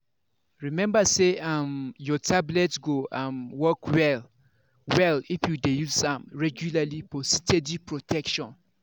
remember say um your tablet go um work well-well if you dey use am regularly for steady protection.